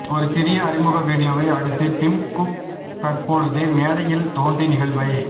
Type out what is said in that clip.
ஒரு சிறிய அறிமுக வீடியோவை அடுத்து டிம் குக் தற்பொழுது மேடையில் தோன்றி நிகழ்வை